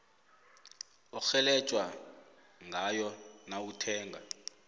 orhelejwa ngayo nawuthenga